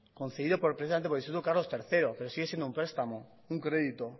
concedido precisamente por el instituto carlos tercero pero sigue siendo un prestamo un crédito